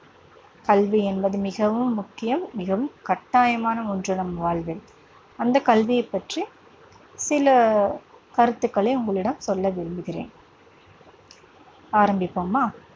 கல்வி என்பது மிகவும் முக்கியம், மிகவும் கட்டாயமான ஒன்று நம் வாழ்வில். அந்தக் கல்வியைப் பற்றிச் சில கருத்துக்களை உங்களிடம் சொல்ல விரும்புகிறேன். ஆரம்பிப்போமா?